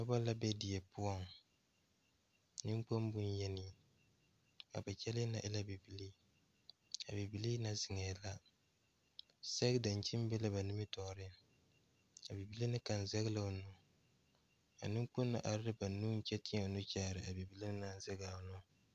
Noba la be die poɔŋ niŋkpoŋ bonyeni a na kyɛllɛɛ na e la bibilii a bibilii na zeŋɛɛ la sɛge-daŋkyini be la ba nimitɔɔre a bibile na kaŋa zɛge la o nuu a neŋkpoŋ na are la ba nuuŋ kyɛ teɛ a nuu kyaare a bibile naŋ zɛge o nuu.